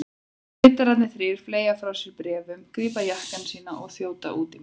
Ritararnir þrír fleygja frá sér bréfunum, grípa jakkana sína og þjóta út í mat.